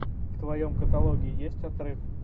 в твоем каталоге есть отрыв